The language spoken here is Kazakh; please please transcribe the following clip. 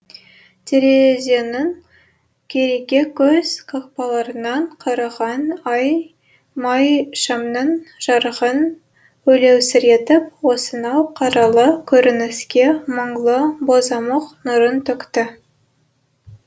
терезенің кереге көз қақпаларынан қараған ай майшамның жарығын өлеусіретіп осынау қаралы көрініске мұңлы бозамық нұрын төкті